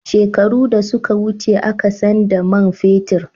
Shekaru da suka wuce a ka san da man fetir